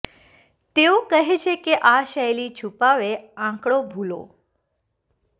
તેઓ કહે છે કે આ શૈલી છુપાવે આંકડો ભૂલો